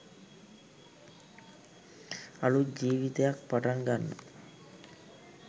අලුත් ජීවිතයක් පටන් ගන්න